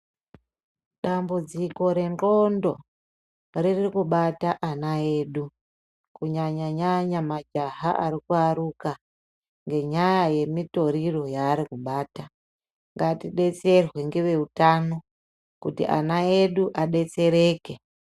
Dambudziko rengqondo ririkubata ana edu kunyanya-nyanya majaha ari kuaruka. Ngenyaya yemitoriro yaari kubata, ngatidetserwe ngeveutano kuti ana edu adetsereke.